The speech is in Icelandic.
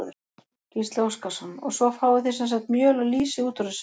Gísli Óskarsson: Og svo fáið þið sem sagt mjöl og lýsi út úr þessu?